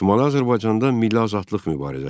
Şimali Azərbaycanda milli azadlıq mübarizəsi.